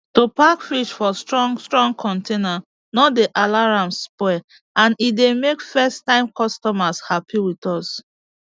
to pack fish for strong strong container no dey allow am spoil and e dey make first time customers happy with us